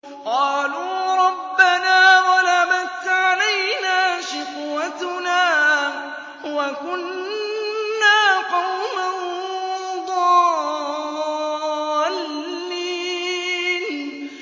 قَالُوا رَبَّنَا غَلَبَتْ عَلَيْنَا شِقْوَتُنَا وَكُنَّا قَوْمًا ضَالِّينَ